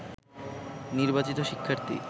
নির্বাচিত শিক্ষার্থী